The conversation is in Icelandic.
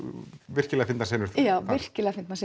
virkilega fyndnar senur þar já virkilega fyndnar